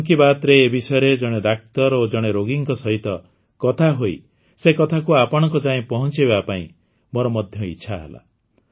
ମନ୍ କି ବାତ୍ରେ ଏ ବିଷୟରେ ଜଣେ ଡାକ୍ତର ଓ ଜଣେ ରୋଗୀଙ୍କ ସହିତ କଥା ହୋଇ ସେ କଥାକୁ ଆପଣଙ୍କ ଯାଏ ପହଂଚାଇବା ପାଇଁ ମୋର ମଧ୍ୟ ଇଚ୍ଛା ହେଲା